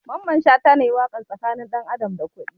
Mamman shata ne yayi waƙar tsakanin ɗan adam da kuɗi